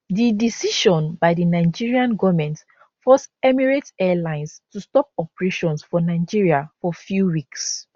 di decision by di nigerian goment force emirates airlines to stop operations for nigeria for few weeks